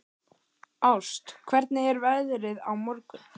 Ást, hvernig er veðrið á morgun?